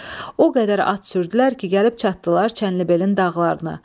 O qədər at sürdülər ki, gəlib çatdılar Çənlibelin dağlarına.